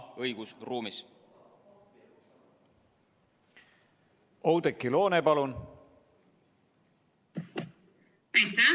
Oudekki Loone, palun!